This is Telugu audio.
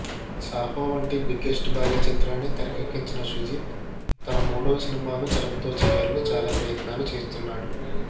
సాహో వంటి బిగ్గెస్ట్ భారీ చిత్రాన్ని తెరకెక్కించిన సుజీత్ తన మూడవ సినిమాను చరణ్తో చేయాలని చాలా ప్రయత్నాలు చేస్తున్నాడు